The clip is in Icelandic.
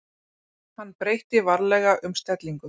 Hann breytti varlega um stellingu.